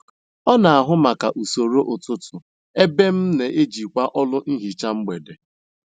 Ọ n'ahụ maka usoro ụtụtụ, ebe m n'ejikwa ọlụ nhicha mgbede